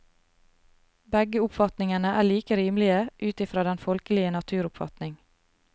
Begge oppfatningene er like rimelige ut i fra den folkelige naturoppfatning.